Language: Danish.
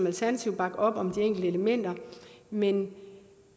alternativet bakke op om de enkelte elementer men